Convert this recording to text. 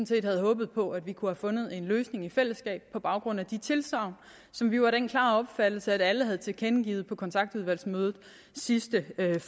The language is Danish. set havde håbet på at vi kunne have fundet en løsning i fællesskab på baggrund af de tilsagn som vi var af den klare opfattelse at alle havde tilkendegivet på kontaktudvalgsmødet sidste